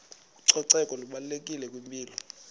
ucoceko lubalulekile kwimpilo